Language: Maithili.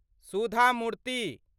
सुधा मूर्ति